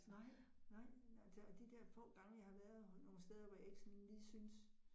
Nej, nej, men altså og de der få gange, jeg har været nogle steder, hvor jeg ikke sådan lige syntes